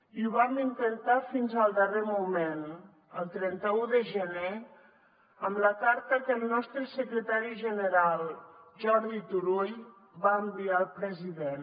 i ho vam intentar fins al darrer moment el trenta un de gener amb la carta que el nostre secretari general jordi turull va enviar al president